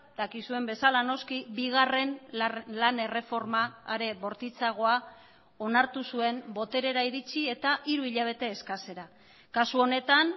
dakizuen bezala noski bigarren lan erreforma are bortitzagoa onartu zuen boterera iritsi eta hiru hilabete eskasera kasu honetan